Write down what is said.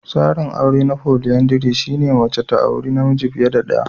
Tsarin aure na folyandry shine wanda mace ta auri namiji fiye da ɗaya.